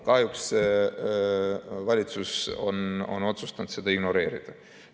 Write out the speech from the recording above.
Kahjuks on valitsus otsustanud seda ignoreerida.